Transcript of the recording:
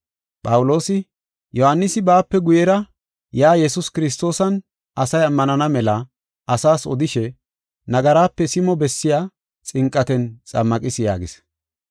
Phawuloosi, “Yohaanisi baape guyera yaa Yesuus Kiristoosan asay ammanana mela asaas odishe, nagarape simo bessiya xinqaten xammaqis” yaagis.